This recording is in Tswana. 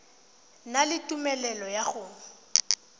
na le tumelelo ya go